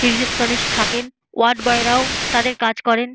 Receptionist থাকেন। Ward boy রাও তাদের কাজ করেন।